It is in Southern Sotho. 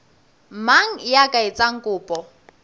mang ya ka etsang kopo